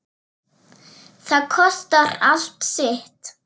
Það kostar allt sitt.